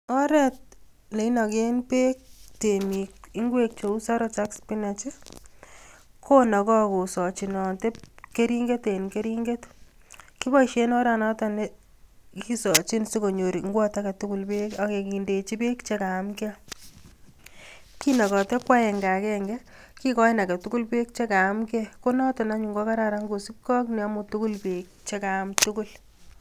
Oreet neinoken beek temiik ing'wek cheuu saroj ak spinach konokoo kosochinote kering'et en kering'et, kiboishen oranoton chekisochin sikonyor ing'wot aketukul beek ak kindechi beek chekayamke, kinokote ko akeng'a kenge, kikoin aketukul beek chekayamke konoton anyun ko kararan anyun kosipkee ak neyomu beek chekaam tukul.